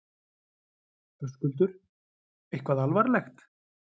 Höskuldur: Eitthvað alvarlegt?